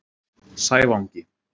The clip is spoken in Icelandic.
Sævangi